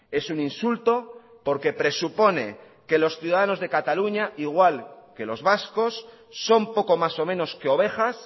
es un insulto porque presupone que los ciudadanos de cataluña igual que los vascos son poco más o menos que ovejas